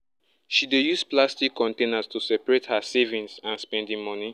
she dey use plastic containers to separate her savings and spending money